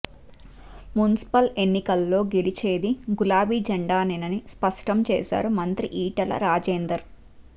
municipal ఎన్నికల్లో గెలిచేది గులాబీ జెండానేనని స్పష్టం చేశారు మంత్రి ఈటల రాజేందర్